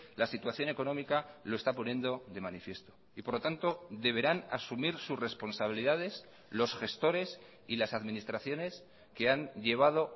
la situación económica lo está poniendo de manifiesto y por lo tanto deberán asumir sus responsabilidades los gestores y las administraciones que han llevado